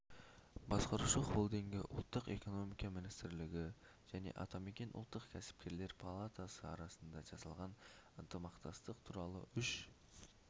басқарушы холдингі ұлттық экономика министрлігі және атамекен ұлттық кәсіпкерлер палатасы арасында жасалған ынтымақтастық туралы үш